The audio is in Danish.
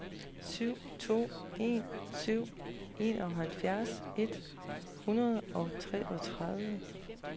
syv to en syv enoghalvfjerds et hundrede og treogtredive